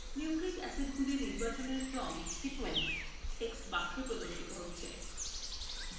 nucleic acidsগুলির নির্বাচনের ক্রম sequence text box প্রদর্শিত হচ্ছে